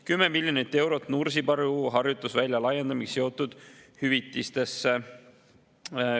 10 miljonit eurot läheb Nursipalu harjutusvälja laiendamisega seotud hüvitistesse.